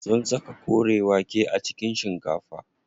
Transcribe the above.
Sun saka kore wake a cikin shikafa.